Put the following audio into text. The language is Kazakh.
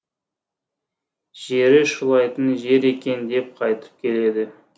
жері шулайтын жер екен деп қайтып келеді